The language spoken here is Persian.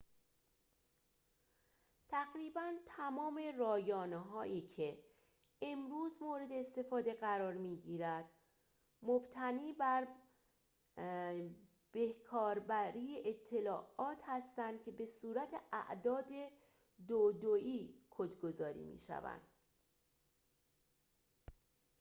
تقریباً تمام رایانه‌هایی که امروزه مورد استفاده قرار می‌گیرد مبتنی بر به‌کار بری اطلاعات هستند که به صورت اعداد دو دویی کدگذاری می‌شوند